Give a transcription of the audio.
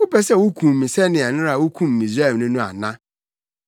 Wopɛ sɛ wukum me sɛnea nnɛra wukum Misraimni no ana?’